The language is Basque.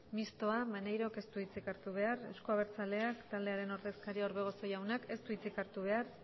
mistoa maneirok ez du hitzik hartu behar euzko abertzaleak taldearen ordezkariak orbegozo jaunak ez du hitzik hartu behar